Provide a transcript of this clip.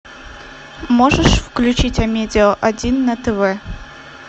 можешь включить амедиа один на тв